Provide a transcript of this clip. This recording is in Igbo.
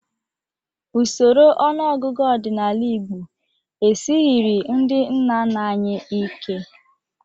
Usoro ọnụọgụgụ ọdịnala Igbo esighiri ndị nna nna anyị ike.